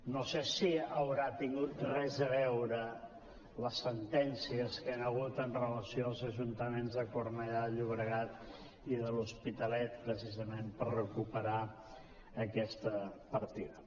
no sé si hi deuen haver tingut res a veure les sentències que hi han hagut amb relació als ajuntaments de cornellà de llobregat i de l’hospitalet precisament per recuperar aquesta partida